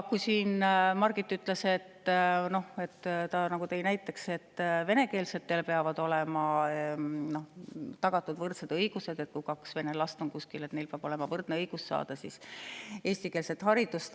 Margit tõi näite, et venekeelsetele peavad olema tagatud võrdsed õigused: et kui kuskil on kaks vene last, siis neil peab olema võrdne õigus saada eestikeelset haridust.